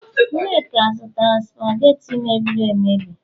nneka zụtara supagetti mebieri emebi